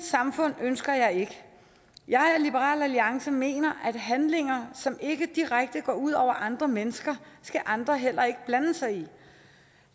samfund ønsker jeg ikke jeg og liberal alliance mener at handlinger som ikke direkte går ud over andre mennesker skal andre heller ikke blande sig i